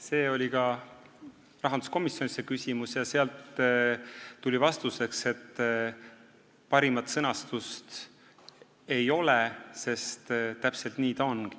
See küsimus oli ka rahanduskomisjonis ja sealt tuli vastuseks, et paremat sõnastust ei ole, sest täpselt nii ta on.